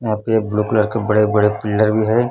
यहां पे एक ब्लू कलर का बड़े बड़े पिलर भी है।